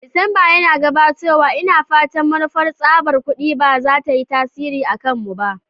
Disamba yana gabatowa, ina fata manufar tsabar kudi ba za ta yi tasiri a kanmu ba.